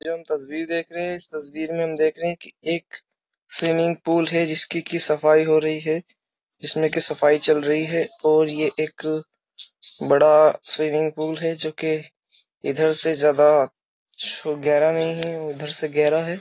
तस्वीर देख रहे हैं इस तस्वीर में हम देख रहे हैं कि एक स्विमिंग है जिसकी कि सफाई हो रही है जिसमें कि सफाई चल रही है और ये एक बड़ा स्विमिंग पूल है जो कि इधर से ज्यादा गहरा नहीं है उधर से गहरा है।